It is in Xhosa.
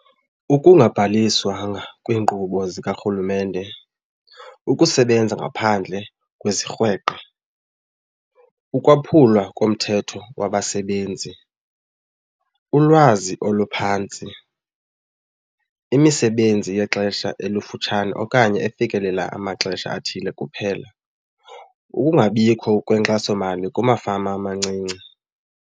Ukungabhaliswanga kwiinkqubo zikaRhulumente, ukusebenza ngaphandle kwezirhweqe, ukwaphulwa komthetho kwabasebenzi, ulwazi oluphantsi, imisebenzi yexesha elifutshane okanye efikelela amaxesha athile kuphela, ukungabikho kwenkxasomali kumafama amancinci.